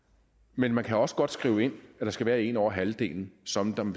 men man kan også godt skrive ind at det skal være en ud over halvdelen som som